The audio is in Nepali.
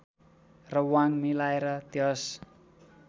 र वाङ मिलाएर त्यस